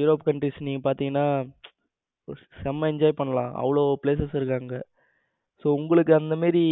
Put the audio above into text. europe country நீங்க பாத்தீங்கன்னா செம enjoy பண்ணலாம். அங்கு அவ்வளவு places இருக்கு அங்க உங்களுக்கு அந்த மாதிரி